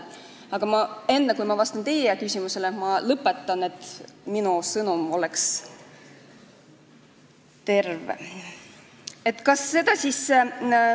Aga enne, kui ma vastan teie küsimusele, ma lõpetan oma kõne, et minu sõnum oleks terviklik.